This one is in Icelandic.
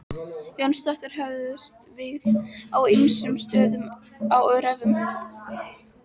Jónsdóttir höfðust við á ýmsum stöðum á öræfum